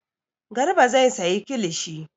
Garba zai sayi kilishi.